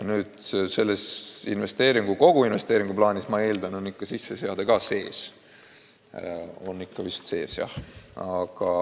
Ja selles koguinvesteeringu plaanis on eeldatavasti ikka sisseseade ka sees.